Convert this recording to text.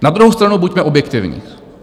Na druhou stranu buďme objektivní.